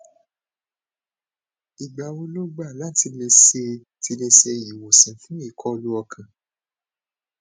igba wo lo gba la ti le se ti le se iwosan fun ikọlu ọkan